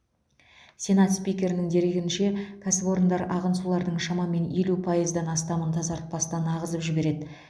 сенат спикерінің дерегінше кәсіпорындар ағын сулардың шамамен елу пайыздан астамын тазартпастан ағызып жібереді